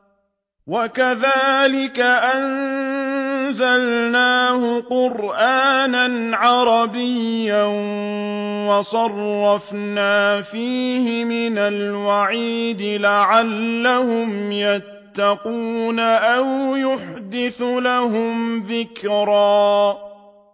وَكَذَٰلِكَ أَنزَلْنَاهُ قُرْآنًا عَرَبِيًّا وَصَرَّفْنَا فِيهِ مِنَ الْوَعِيدِ لَعَلَّهُمْ يَتَّقُونَ أَوْ يُحْدِثُ لَهُمْ ذِكْرًا